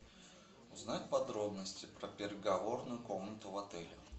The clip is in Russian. узнать подробности про переговорную комнату в отеле